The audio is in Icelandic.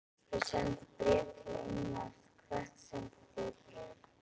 Við sendum bréf til Englands. Hvert sendið þið bréf?